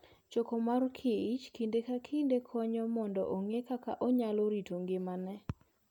Choko mor kich kinde ka kinde konyo mondo ong'e kaka onyalo rito ngimane.